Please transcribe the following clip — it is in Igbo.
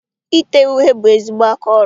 Ite uhie bụ ezigbo aka ọrụ.